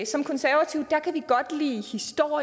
som konservative